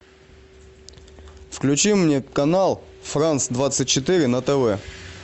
включи мне канал франц двадцать четыре на тв